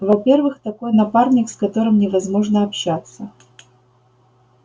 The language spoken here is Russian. во-первых такой напарник с которым невозможно общаться